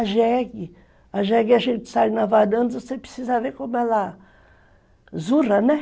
A jegue, a jegue a gente sai na varanda, você precisa ver como ela zurra, né?